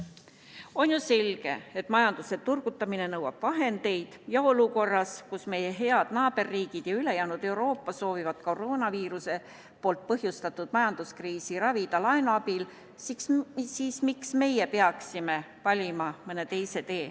On ju selge, et majanduse turgutamine nõuab vahendeid, ja olukorras, kus meie head naaberriigid ning ülejäänud Euroopa soovivad koroonaviiruse põhjustatud majanduskriisi ravida laenu abil, siis miks meie peaksime valima mõne teise tee.